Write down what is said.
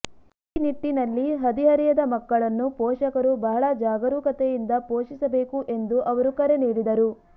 ಈ ನಿಟ್ಟಿನಲ್ಲಿ ಹದಿಹರೆಯದ ಮಕ್ಕಳನ್ನು ಪೋಷಕರು ಬಹಳ ಜಾಗರೂಕತೆಯಿಂದ ಪೋಷಿಸಬೇಕು ಎಂದು ಅವರು ಕರೆ ನೀಡಿದರು